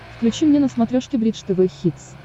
включи мне на смотрешке бридж тв хитс